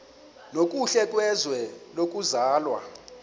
nokuhle kwizwe lokuzalwa